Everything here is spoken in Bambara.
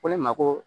Ko ne ma ko